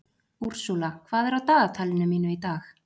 Ursula, hvað er á dagatalinu mínu í dag?